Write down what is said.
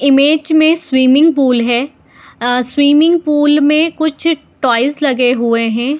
Image में swimming pool है swimming pool में कुछ टॉयज लगे हुए हैं।